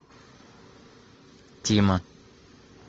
тима